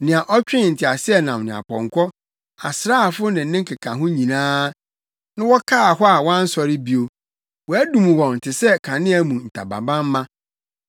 nea ɔtwee nteaseɛnam ne apɔnkɔ, asraafo ne ne nkekaho nyinaa, na wɔkaa hɔ a wɔansɔre bio, wɔadum wɔn te sɛ kanea mu ntamabamma: